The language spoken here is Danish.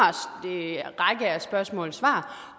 række af spørgsmål svar